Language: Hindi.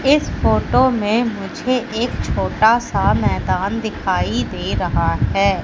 इस फोटो में मुझे एक छोटा सा मैदान दिखाई दे रहा है।